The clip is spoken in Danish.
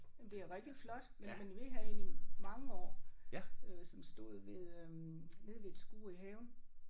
Jamen det er rigtig flot men men vi havde en i mange år øh som stod ved øh nede ved et skur i haven